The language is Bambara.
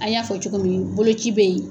An y'a fɔ cogo min bolo ci bɛ yen.